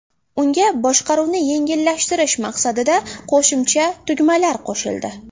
Unga boshqaruvni yengillashtirish maqsadida qo‘shimcha tugmalar qo‘shildi.